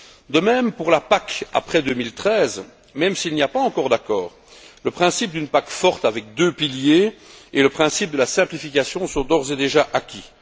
De même pour la PAC après 2013, même s'il n'y a pas encore d'accord, le principe d'une PAC forte avec deux piliers et le principe de la simplification sont d'ores et déjà acquis.